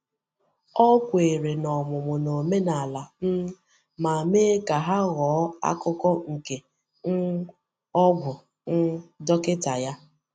Ọ kwèrè n’ọmụmụ̀ na omenala, um ma mee ka ha ghọọ akụkụ nke um ọgwụ um dọkịta ya.